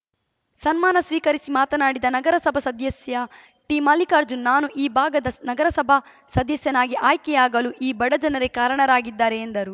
ಸನ್ಮಾನ ಸ್ವೀಕರಿಸಿ ಮಾತನಾಡಿದ ನಗರಸಭಾ ಸದಸ್ಯ ಟಿಮಲ್ಲಿಕಾರ್ಜುನ್ ನಾನು ಈ ಭಾಗದ ನಗರಸಭಾ ಸದಸ್ಯನಾಗಿ ಆಯ್ಕೆಯಾಗಲು ಈ ಬಡ ಜನರೇ ಕಾರಣರಾಗಿದ್ದಾರೆ ಎಂದರು